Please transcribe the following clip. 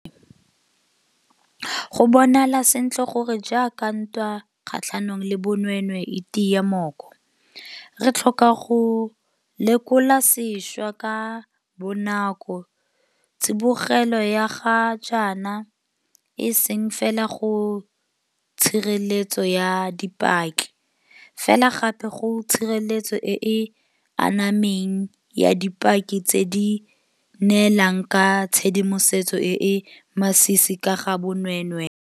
Go bonala sentle gore jaaka ntwa kgatlhanong le bonweenwee e tia mooko, re tlhoka go lekola sešwa ka bonako tsibogelo ya ga jaana e seng fela go tshireletso ya dipaki, fela gape go tshireletso e e anameng ya dipaki tse di neelang ka tshedimosetso e e masisi ka ga bonweenwee.